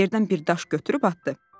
Yerdən bir daş götürüb atdı.